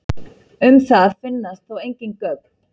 Um það finnast þó engin gögn.